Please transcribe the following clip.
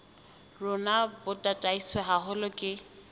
rona bo tataiswe haholo ke